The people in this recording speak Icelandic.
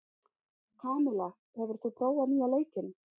Kamilla, hefur þú prófað nýja leikinn?